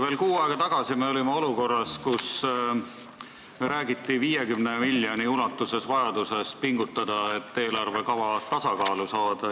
Veel kuu aega tagasi me olime olukorras, kus räägiti vajadusest 50 miljoni ulatuses pingutada, et eelarvekava tasakaalu saada.